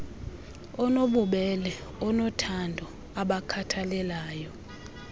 onobubele onothando obakhathalelayo